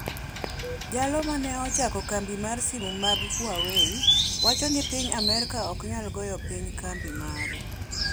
Jalo ma ne ochako kambi mar simu mag Huawei wacho ni piny Amerka ok nyal goyo piny kambi mare